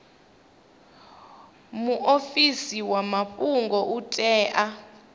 muofisi wa mafhungo u tea